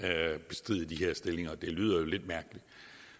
bestride de her stillinger og det lyder jo lidt mærkeligt